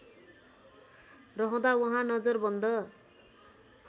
रहँदा उहाँ नजरबन्द